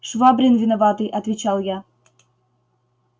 швабрин виноватый отвечал я